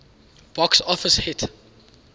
box office hit